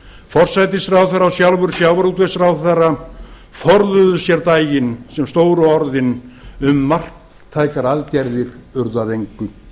forsætisráðherra og sjálfur sjávarútvegsráðherra forðuðu sér daginn sem stóru orðin um marktækar aðgerðir urðu að engu